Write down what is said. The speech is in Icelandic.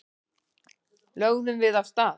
Lögðum við af stað.